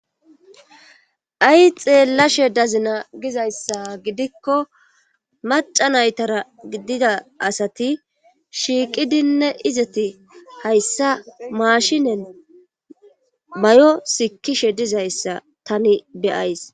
ay xeellashe dazina gizayssa gidikko macca naytara gidida asati shiiqidinne izeti hayssa maashinen mayo sikkishe dizayssa tani be7ays.